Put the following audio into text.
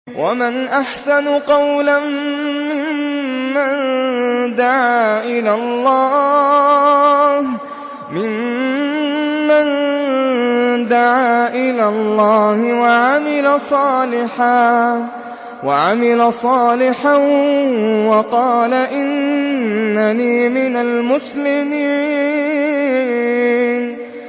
وَمَنْ أَحْسَنُ قَوْلًا مِّمَّن دَعَا إِلَى اللَّهِ وَعَمِلَ صَالِحًا وَقَالَ إِنَّنِي مِنَ الْمُسْلِمِينَ